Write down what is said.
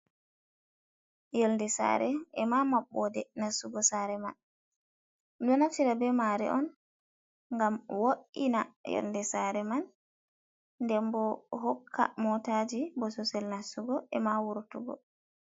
Yonde sare e ma mabɓode nastugo sare man, ɗo naftira ɓe mare on ngam wo’ina yonde sare man nden bo hokka motaji bososel nastugo e ma wurtungo.